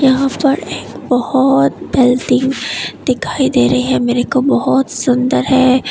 यहां पर एक बहोत बिल्डिंग दिखाई दे रही है मेरे को बहोत सुंदर है।